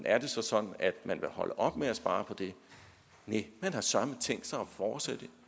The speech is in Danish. er det så sådan at man vil holde op med at spare på det næ man har søreme tænkt sig at fortsætte